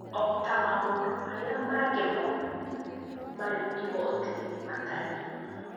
O ta maũndũ marĩa mangĩ mothe marĩ igooti-inĩ matariĩ.